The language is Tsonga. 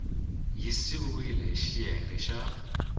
yi siviwile hi xiyenge xa